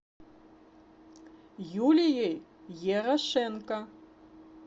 юлией ерошенко